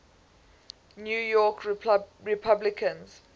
new york republicans